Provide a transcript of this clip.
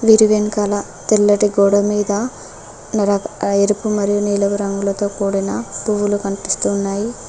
గిరి వెనకాల తెల్లటి గోడమీద ఎరుపు మరియు నీలపు రంగులతో కూడిన పువ్వులు కనిపిస్తున్నాయి.